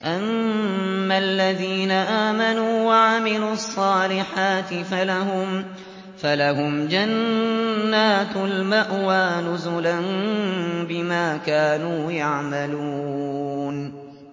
أَمَّا الَّذِينَ آمَنُوا وَعَمِلُوا الصَّالِحَاتِ فَلَهُمْ جَنَّاتُ الْمَأْوَىٰ نُزُلًا بِمَا كَانُوا يَعْمَلُونَ